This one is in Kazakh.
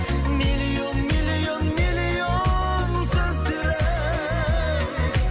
миллион миллион миллион сөздері